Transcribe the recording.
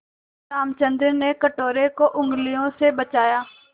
रामचंद्र ने कटोरे को उँगलियों से बजाया